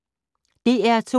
DR P2